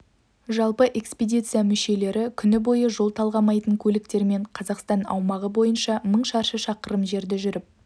жалпы экспедиция мүшелері күн бойы жол талғамайтын көліктермен қазақстан аумағы бойынша мың шаршы шақырым жерді жүріп